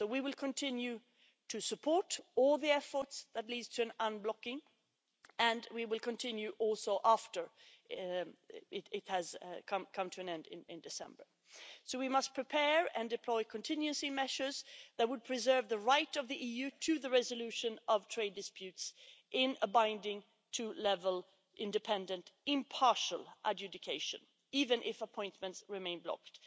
So we will continue to support all the efforts that lead to an unblocking, and we will also continue after it has come to an end in December. So we must prepare and deploy contingency measures that would preserve the right of the EU to the resolution of trade disputes in a binding, two level, independent, impartial adjudication, even if appointments remain blocked.